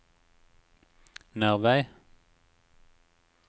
Nervei